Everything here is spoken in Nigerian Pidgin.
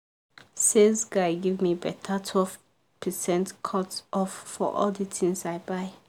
sales guy give me better 12 percent cut off for all the things i buy.